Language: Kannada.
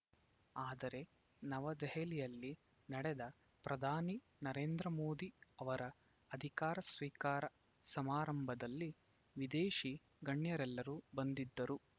ಆದರೆ ನವದೆಹಲಿಯಲ್ಲಿ ನಡೆದ ಪ್ರಧಾನಿ ನರೇಂದ್ರಮೋದಿ ಅವರ ಅಧಿಕಾರ ಸ್ವೀಕಾರ ಸಮಾರಂಭದಲ್ಲಿ ವಿದೇಶಿ ಗಣ್ಯರೆಲ್ಲರೂ ಬಂದಿದ್ದರು